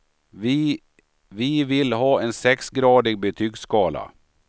Vi vill ha en sexgradig betygsskala.